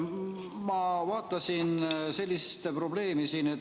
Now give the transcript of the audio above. Ma vaatasin sellist probleemi siin.